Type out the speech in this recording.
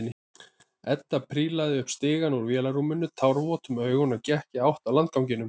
Edda prílaði upp stigann úr vélarrúminu, tárvot um augun og gekk í átt að landganginum.